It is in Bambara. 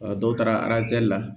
dɔw taara la